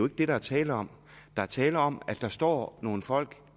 det der er tale om der er tale om at der står nogle folk